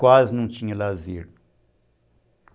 Quase não tinha lazer.